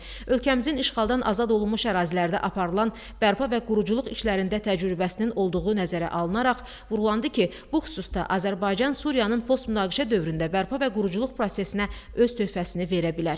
Ölkəmizin işğaldan azad olunmuş ərazilərdə aparılan bərpa və quruculuq işlərində təcrübəsinin olduğu nəzərə alınaraq, vurğulandı ki, bu xüsusda Azərbaycan Suriyanın post-münaqişə dövründə bərpa və quruculuq prosesinə öz töhfəsini verə bilər.